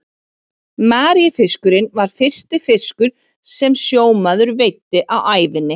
Maríufiskurinn var fyrsti fiskur sem sjómaður veiddi á ævinni.